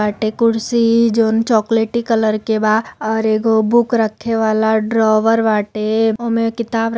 कुर्सी जोन चॉकलेटी कलर के बा और एगो बुक रखेवाला ड्रोवर बाटे ओमें किताब --